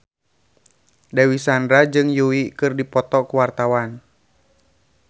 Dewi Sandra jeung Yui keur dipoto ku wartawan